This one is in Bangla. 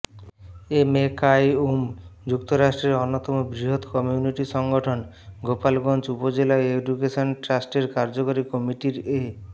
এমএ কাইয়ূমঃ যুক্তরাজ্যের অন্যতম বৃহৎ কমিউনিটি সংগঠন গোলাপগঞ্জ উপজেলা এডুকেশন ট্রাস্টের কার্যকরী কমিটির এ